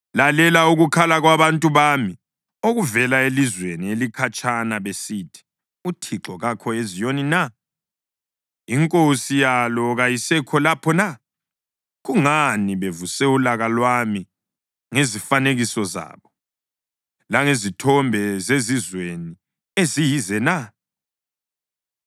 Lalela ukukhala kwabantu bami okuvela elizweni elikhatshana besithi: “ UThixo kakho eZiyoni na? INkosi yalo kayisekho lapho na?” “Kungani bevuse ulaka lwami ngezifanekiso zabo, langezithombe zezizweni eziyize na?”